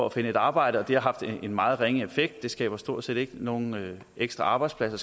at finde et arbejde og det har haft en meget ringe effekt det skaber stort set ikke nogen ekstra arbejdspladser